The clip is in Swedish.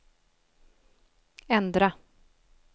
ändra